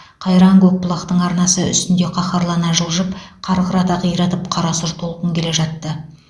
қайран көкбұлақтың арнасы үстінде қаһарлана жылжып қарқырата қиратып қарасұр толқын келе жатты